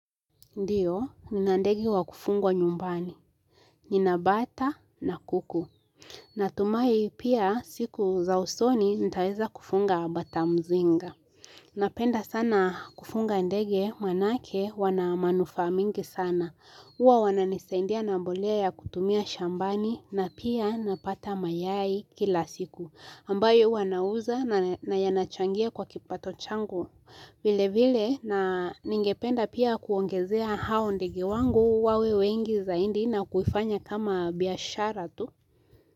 Ndiyo, nina ndege wa kufungwa nyumbani. Nina bata na kuku. Natumai pia siku za usoni nitaweza kufunga batamzinga. Napenda sana kufunga ndege manake wanamanufaa mingi sana. Uwa wananisadia na mbolea ya kutumia shambani na pia napata mayai kila siku. Ambayo huwa nauza na yanachangia kwa kipato changu. Vile vile na ningependa pia kuongezea hao ndege wangu wawe wengi zaidi na kuifanya kama biashara tu.